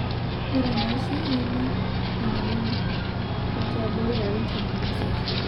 Ore enaisho neme enoo lelo otii abori larin tomon osiet